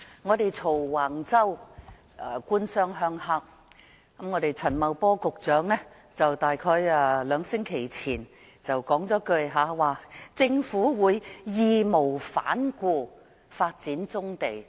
我們罵橫洲問題是"官商鄉黑"，我們的陳茂波局長約在兩星期前便說"政府會義無反顧地發展棕地"。